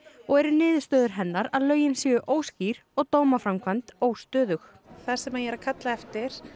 og eru niðurstöður hennar að lögin séu óskýr og dómaframkvæmd óstöðug það sem ég er að kalla eftir